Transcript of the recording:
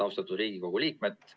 Austatud Riigikogu liikmed!